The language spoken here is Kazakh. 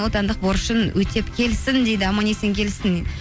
отандық борышын өтеп келсін дейді аман есен келсін